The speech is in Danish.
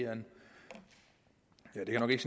nok ikke